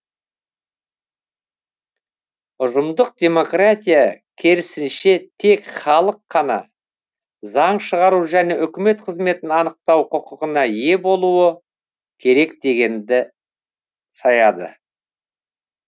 ұжымдық демократия керісінше тек халық қана заң шығару және үкімет қызметін анықтау құқығына ие болуы керек дегенге саяды